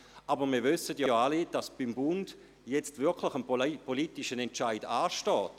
Aber wir wissen alle, dass beim Bund jetzt ein politischer Entscheid ansteht.